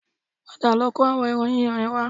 Padà lọ kó àwọn ẹran yíyan yẹn wá